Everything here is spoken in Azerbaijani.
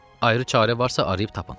Ayrı çarə varsa arayıb tapın.